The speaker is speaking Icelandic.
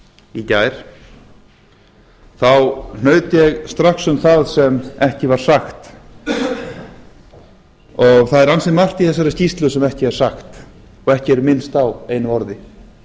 í gær þá hnaut ég strax um það sem ekki var sagt og það er ansi margt í þessari skýrslu sem ekki er sagt og ekki er minnst á einu orði